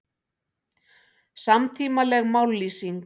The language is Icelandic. Samtímaleg mállýsing